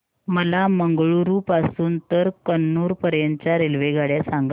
मला मंगळुरू पासून तर कन्नूर पर्यंतच्या रेल्वेगाड्या सांगा